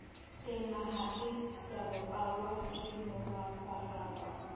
enaha se sebapallwa ke moraparapa